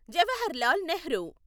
Jawaharlal Nehru